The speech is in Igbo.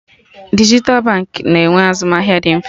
Dijital banks na-enwe azụmahịa dị mfe